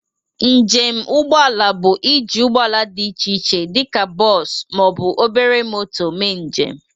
Njem ụgbọ ala bụ ị ji ụgbọ ala dị iche iche dịka bọs ma ọ bụ obere moto mee njem.